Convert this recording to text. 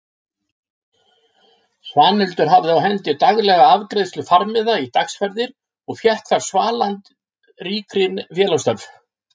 Svanhildur hafði á hendi daglega afgreiðslu farmiða í dagsferðir og fékk þar svalað ríkri félagsþörf.